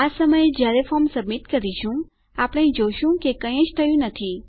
આ સમયે જયારે ફોર્મ સબમીટ કરીશું આપણે જોઈએ છીએ કે કઈ જ થયું નથી